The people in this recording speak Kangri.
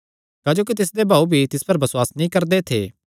क्जोकि तिसदे भाऊ भी तिस पर बसुआस नीं करदे थे